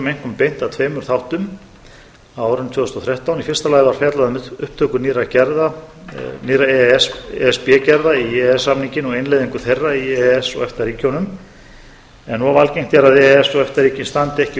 einkum beint að tveimur þáttum á árinu tvö þúsund og þrettán í fyrsta lagi var fjallað um upptöku nýrra e s b gerða í e e s samninginn og innleiðingu þeirra í e e s efta ríkin standi ekki við tímamörk e e s samningsins